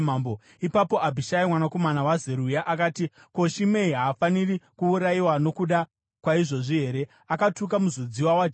Ipapo Abhishai mwanakomana waZeruya akati, “Ko, Shimei haafaniri kuurayiwa nokuda kwaizvozvi here? Akatuka muzodziwa waJehovha.”